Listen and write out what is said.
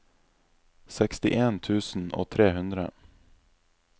sekstien tusen og tre hundre